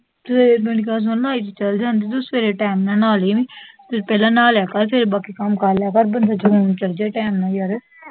ਸਵੇਰ ਨੂੰ , ਚਲ ਜਾਂਦੀ, ਤੂੰ ਸਵੇਰ ਟਾਈਮ ਨਾਲ ਨਾਂਹ ਲੀ, ਪਹਿਲਾਂ ਨਹਾ ਲਿਆ ਕਰ, ਫੇਰ ਬਾਕੀ ਕੱਮ ਕਰ ਲਿਆ ਕਰ, ਬੰਦਾ ਚਲ ਜਿਆ ਟਾਈਮ ਨਾਲ ਯਾਰ